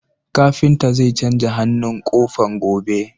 Kafinta zai canja hannun ƙofar, gobe.